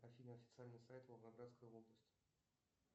афина официальный сайт волгоградской области